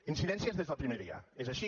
incidències des del primer dia és així